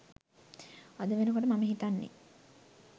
අද වෙනකොට මම හිතන්නේ